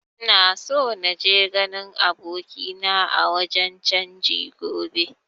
Ina so naje ganin abokina a wajen canji gobe